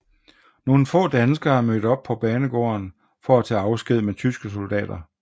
Nogle få danskere er mødt op på banegården for at tage afsked med tyske soldater